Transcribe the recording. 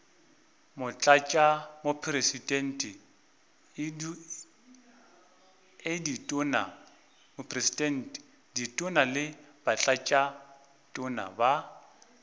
motlatšamopresidente ditona le batlatšatona ba